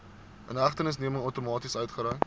inhegtenisneming outomaties uitgereik